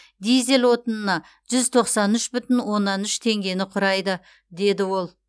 дизель отынына жүз тоқсан үш бүтін оннан үш теңгені құрайды деді ол